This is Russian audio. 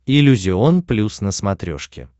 иллюзион плюс на смотрешке